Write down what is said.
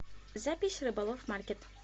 запись рыболов маркет